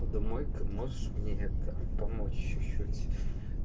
домой ка можешь мне это помочь чуть-чуть